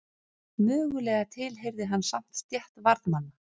Mögulega tilheyrði hann samt stétt varðmanna.